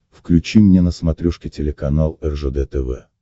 включи мне на смотрешке телеканал ржд тв